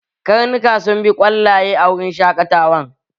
Karnuka sun bi kwallaye a wurin shaƙatawan